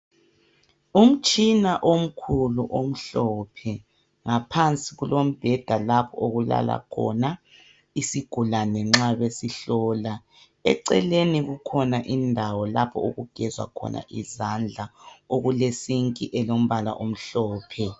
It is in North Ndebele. Umtshina omkhulu omhlophe. Ngaphansi kulombheda lapho okulala khona isigulane nxa besihlola. Eceleni kukhona indawo lapho okugezwa khona izandla okulesinki elombala omhlophe.